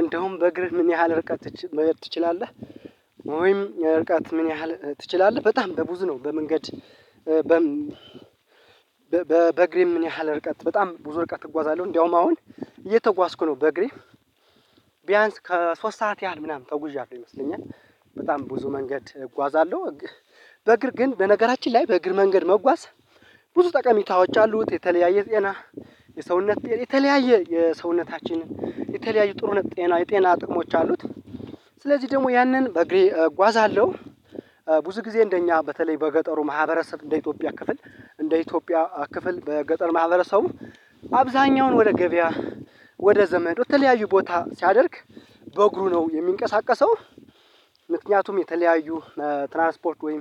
እንደውም በእግርህ ምን ያህል ርቀትች መሄድ ትችላለህ? ወይም ርቀት ምን ያህል ትችላለህ በጣም በብዙ ነው በመንገድ? በበግሬ ምን ያህል ርቀት በጣም ብዙ ርቀት እጓዛለሁ እንደውም አሁን እየተጓዝኩ ነው በእግሬ ቢያንስ ከሶስት ሰዓት ያህል ምናምን ተጉዣለሁ ይመስለኛል። በጣም ብዙ መንገድ እጓዛለሁ። በእግር ግን በነገራችን ላይ በእግር መንገድ መጓዝ ብዙ ጠቀሜታዎች አሉት የተለያየ ጤና የሰውነት የተለያየ የሰውነታችንን የተለያየ ጥሩነክ ጤና የጤና ጥቅሞች አሉት። ስለዚህ ደግሞ ያንን በእግሬ እጓዛለሁ። ብዙ ጊዜ እንደኛ በተለይ በገጠሩ ማህበረሰብ እንደ ኢትዮጵያ ክፍል እንደ ኢትዮጵያ ክፍል በገጠር ማህበረሰቡ አብዛኛውን ወደ ገበያ ወደ ዘመድ ወደ ተለያዩ ቦታ ሲያደርግ በእግሩ ነው የሚንቀሳቀሰው። ምክንያቱም የተለያዩ ትራንስፖርት ወይም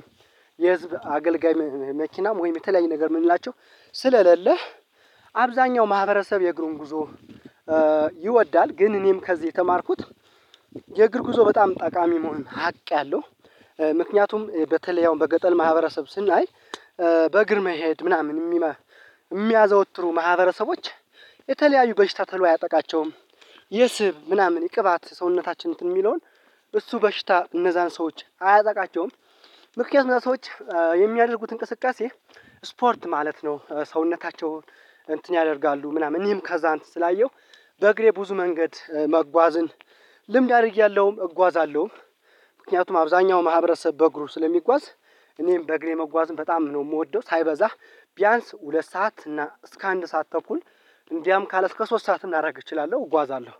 የህዝብ አገልጋይ መኪናም ወይም የተለያየ ነገር የምንላቸው ስለለለ አብዛኛው ማህበረሰብ የእግሩን ጉዞ ይወዳል። ግን እኔም ከዚህ የተማርኩት የእግር ጉዞ በጣም ጠቃሚ መሆን ሀቅ ያለው። ምክንያቱም በተለይ ያው በገጠር ማህበረሰብ ስናይ በእግር መሄድ ምናምን የሚያዘወትሩ ማህበረሰቦች የተለያዩ በሽታ ተሎ አያጠቃቸውም። የስብ ምናምን የቅባት ሰውነታችን እንትን የሚለውን እሱ በሽታ እነዛን ሰዎች አያጠቃቸውም። ምክንያቱም እዛ ሰዎች የሚያደርጉት እንቅስቃሴ ስፖርት ማለት ነው። ሰውነታቸውን እንትን ያደርጋሉ ምናምን እኔም ከዛ እንትን ስላየሁ በእግሬ ብዙ መንገድ መጓዝን ልምድ አድርጌያለሁ እጓዛለሁ። ምክንያቱም አብዛኛው ማህበረሰብ በእግሩ ስለሚጓዝ እኔም በእግሬ መጓዝም በጣም ነው የምወደው። ሳይበዛ ቢያንስ ሁለት ሰዓት እና እስከ አንድ ሰዓት ተኩል እንዲያም ካለ እስከ ሶስት ሰዓት ላደርግ እችላለሁ እጓዛለሁ